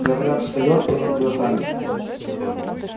говорят встаёт перед глазами